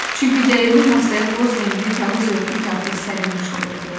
Çünki dəyirmi masaya boz rəngli kağız örtük artıq sərilmiş olurdu.